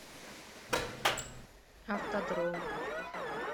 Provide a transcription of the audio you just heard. автодром